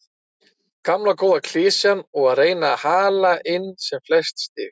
Gamla góða klisjan og að reyna að hala inn sem flest stig.